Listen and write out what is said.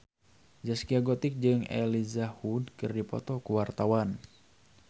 Zaskia Gotik jeung Elijah Wood keur dipoto ku wartawan